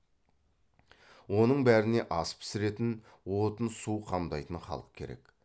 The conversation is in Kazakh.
оның бәріне ас пісіретін отын су қамдайтын халық керек